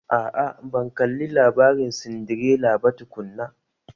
A'a, ban kalli labarin Sindirela ba tukunna